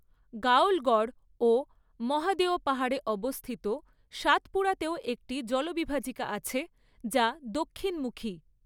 গাওলগড় ও মহাদেও পাহাড়ে অবস্থিত সাতপুরাতেও একটি জলবিভাজিকা আছে, যা দক্ষিণমুখী।